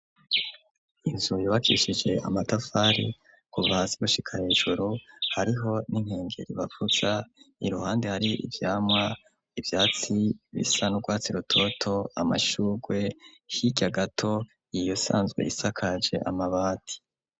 Inzu yubakishije amatafari kuva hasi gushika hejuru hariho n'inkengeri bavuza, iruhande hari ivyamwa, ivyatsi bisa n'urwatsi rutoto, amashurwe, hirya gato yayo isanzwe isakaje amabati.